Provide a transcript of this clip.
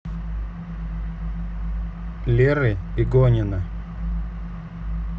леры игонина